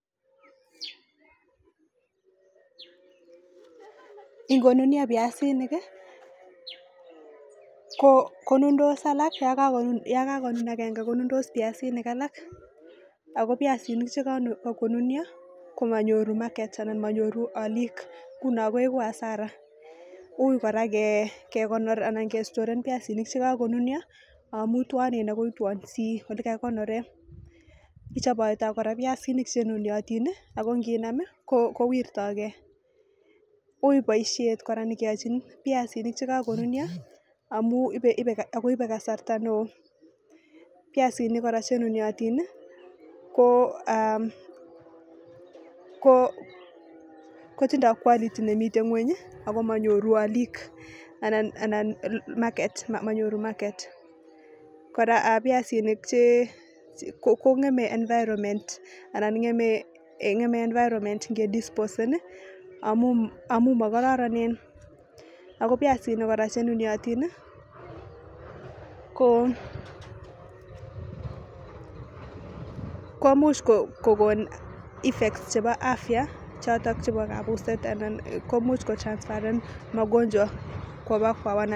Kikonunio piasinik kii ko yokakonun yakakonun agenge ko nundos piasinik alak ako piasinik chekakonunio komonyor market anan monyoru olik nguno koiku hasara ui koraa kekonori anan kestoren piasinik chekokonunio amun twonen ako itwonsii ole kakikonoren. Ichopoito koraa piasinik chenuniotin nii ako nkinamii kowirtogee ui boishet koraa nekeyochi piasinik chekokonunio amun ibe akoibe kasarta neo, piasinik koraa chenuniotin nii ko aah ko kotindo quality nemiten ngweny Ako monyoru olik anan market monyoru market. koraa piasinik che kongeme environment anan ngeme environment nge disposen amun amun mokororonen Ako piasinik koraa chenuniotin nii ko komuch kokon effect chebo afya choton chebo kabuset anan komuch ko transferen makonjwa koba kwa.